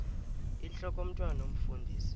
intlok omntwan omfundisi